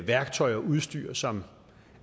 værktøj og udstyr som